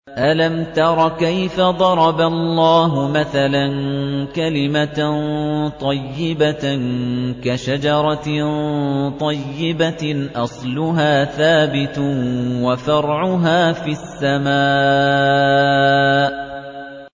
أَلَمْ تَرَ كَيْفَ ضَرَبَ اللَّهُ مَثَلًا كَلِمَةً طَيِّبَةً كَشَجَرَةٍ طَيِّبَةٍ أَصْلُهَا ثَابِتٌ وَفَرْعُهَا فِي السَّمَاءِ